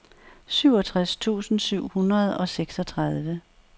syvogtres tusind syv hundrede og seksogtredive